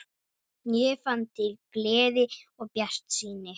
Ég fann til gleði og bjartsýni.